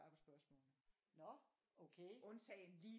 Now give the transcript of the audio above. På spørgsmålene undtagen lige